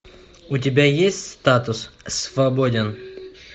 у тебя есть статус свободен